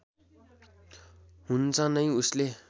हुन्छ नै उसले